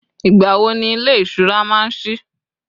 igbawo ni ilé ìṣura ma n sí